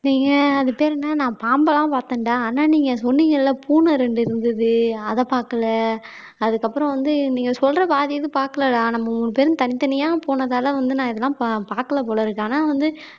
நீங்க அது பேரு என்ன நான் பாம்பெல்லாம் பார்த்தேன்டா ஆனா நீங்க சொன்னீங்கல்ல பூனை ரெண்டு இருந்தது அத பார்க்கல அதுக்கப்புறம் வந்து நீங்க சொல்ற பாதி ஏதும் பார்க்கலடா நம்ம மூணு பேரும் தனித்தனியா போனதால வந்து நான் இதெல்லாம் பா பார்க்கல போல இருக்கு ஆனா வந்து